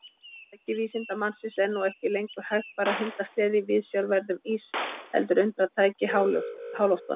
Farartæki vísindamannsins er nú ekki lengur hægfara hundasleði í viðsjárverðum ís heldur undratæki í háloftunum.